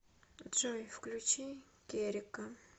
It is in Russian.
джой включи керека